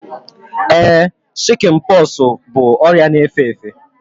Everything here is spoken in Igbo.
Ee, shikin poxu bụ ọrịa na efe efe